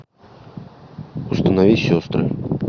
установи сестры